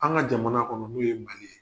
An ka jamana kɔnɔ n'o ye mali ye.